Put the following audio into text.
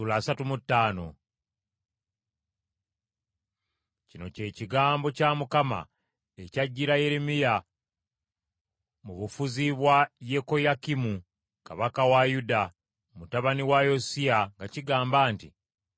Kino kye kigambo kya Mukama ekyajjira Yeremiya mu bufuzi bwa Yekoyakimu kabaka wa Yuda, mutabani wa Yosiya nga kigamba nti,